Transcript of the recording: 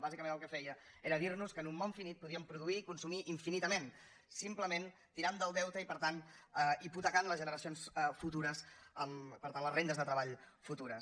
bàsicament el que feia era dir nos que en un món finit podíem produir i consumir infinitament simplement tirant del deute i per tant hipotecant les generacions futures amb per tant les rendes de treball futures